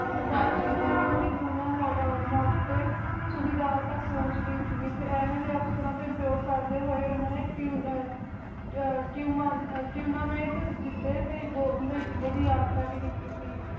T ਬਾਦ ਵਿਚ ਓਹਨਾ ਨੀ ਪੋਰੀ ਲੂਣਾ ਮਾਪ ਟੀ ਸੁਵਿਧਾ ਤਕ ਪੁਹਂਚ ਗਏ ਸੇ ਟੀ ਆਵੇ ਦੇ ਅਫਸਰ ਟੀ ਓਪ੍ਯਾਗ ਕਰਦੀ ਹੋਏ ਓਹਨਾ ਨੀ ਤੁਨਾਮਾਤੇ ਜਿਤੀ ਟੀ ਮਤਲਬ ਜਿਤੀ ਟੀ ਓਨ੍ਦੀ ਯਾਤਰਾ ਵੇ ਕੀਤੀ ਸੇ